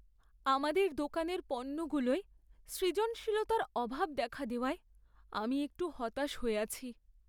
আমাদের দোকানের পণ্যগুলোয় সৃজনশীলতার অভাব দেখা দেওয়ায় আমি একটু হতাশ হয়ে আছি।